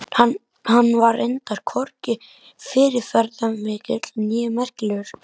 Hann var reyndar hvorki fyrirferðarmikill né merkilegur.